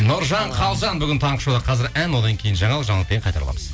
нұржан қалжан бүгін таңғы шоуда қазір ән одан кейін жаңалық жаңалықтан кейін қайта ораламыз